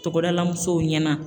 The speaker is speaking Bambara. Togodala musow ɲɛna